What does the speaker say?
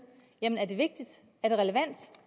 er det vigtigt er det relevant